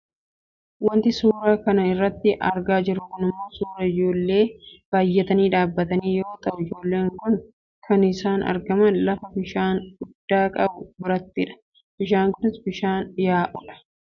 Wanti nuti suura kana irratti argaa jirru kun ammoo suuraa ijoollee baayyatanii dhaabatanii yoo ta'u ijoolleen kun kan isaan argaman lafa bishaan guddaa qabu birattidha. Bishaan kun bishaan yaa'u dha.